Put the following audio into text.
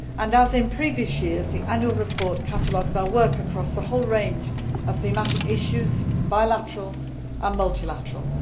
As in previous years, the annual report catalogues our work across the whole range of thematic issues, bilateral and multilateral.